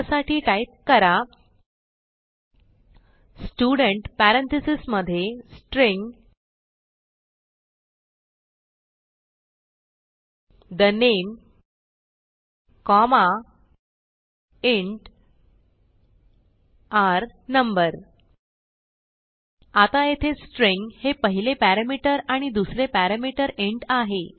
त्यासाठी टाईप करा स्टुडेंट parenthesesमधे string the name comma int r no आता येथे स्ट्रिंग हे पहिले पॅरामीटर आणि दुसरे पॅरामीटर इंट आहे